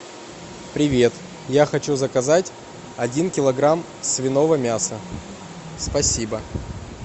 привет я хочу заказать один килограмм свиного мяса спасибо